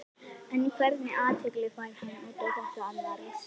En hvernig athygli fær hann út á þetta annars?